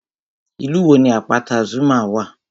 Ìlú wo ni àpáta Zuma wà?